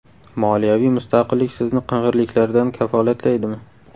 Moliyaviy mustaqillik sizni qing‘irliklardan kafolatlaydimi?